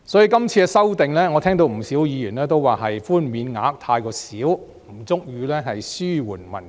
就今次的修正案，我聽到不少議員也認為寬免額太少，不足以紓緩民困。